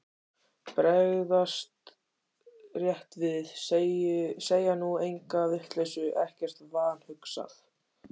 Bregðast rétt við, segja nú enga vitleysu, ekkert vanhugsað.